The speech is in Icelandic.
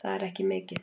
Það er ekki mikið